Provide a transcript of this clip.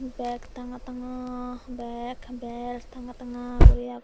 beg tanga tanga bek bel tanga tanga guri agon.